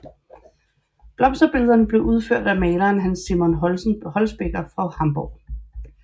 Blomsterbillederne blev udført af maleren Hans Simon Holtzbecker fra Hamborg